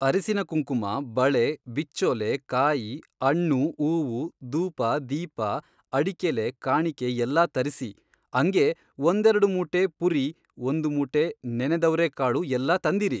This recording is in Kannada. ಅರಿಸಿನ ಕುಂಕುಮ ಬಳೆ ಬಿಚ್ಚೋಲೆ ಕಾಯಿ ಅಣ್ಣು ಊವು ದೂಪ ದೀಪ ಅಡಿಕೆಲೆ ಕಾಣಿಕೆ ಎಲ್ಲಾ ತರಿಸಿ ಅಂಗೇ ಒಂದೆರಡು ಮೂಟೆ ಪುರಿ ಒಂದು ಮೂಟೆ ನೆನೆದವರೆಕಾಳು ಎಲ್ಲಾ ತಂದಿರಿ.